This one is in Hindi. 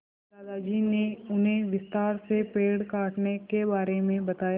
दादाजी ने उन्हें विस्तार से पेड़ काटने के बारे में बताया